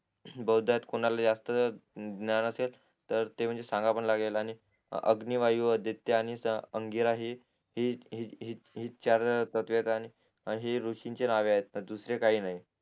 बहुद्यात कोणाला जास्त ज्ञान असेल तर ते म्हणजे सांगावं पण लागेल आणि अग्नी वायू आदित्य आणि अंगिराही हि हि हि चार प्रतवेद आणि ऋषींची नाव आहेत दुसरे काही नाही